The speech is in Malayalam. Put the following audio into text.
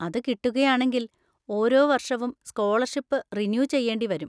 അത് കിട്ടുകയാണെങ്കിൽ ഓരോ വർഷവും സ്‌കോളർഷിപ്പ് റിന്യൂ ചെയ്യേണ്ടി വരും